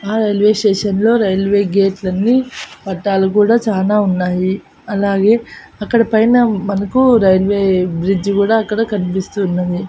ఆ railway station లో railway gate లన్నీ పట్టాలు కూడా చానా ఉన్నాయి అలాగే అక్కడ పైన మనకు రైల్వే బ్రిడ్జి కూడా అక్కడ కన్పిస్తూ ఉన్నది.